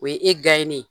O ye e ye